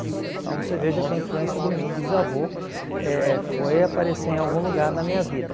Então você veja que a influência do meu bisavô eh foi aparecer em algum lugar na minha vida.